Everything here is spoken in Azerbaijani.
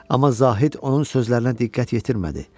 Amma Zahid onun sözlərinə diqqət yetirmədi.